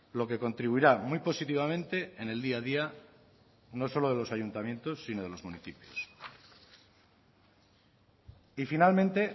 lo que contribuirá muy positivamente en el día a día no solo de los ayuntamientos sino de los municipios y finalmente